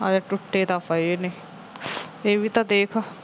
ਹਾਂ ਯਾਰ ਟੁੱਟੇ ਤਾਂ ਪਏ ਨੇ ਇਹ ਵੀ ਦੇਖ